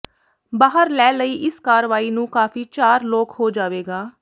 ਬਾਹਰ ਲੈ ਲਈ ਇਸ ਕਾਰਵਾਈ ਨੂੰ ਕਾਫ਼ੀ ਚਾਰ ਲੋਕ ਹੋ ਜਾਵੇਗਾ